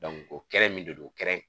o kɛnɛ min don kɛnɛ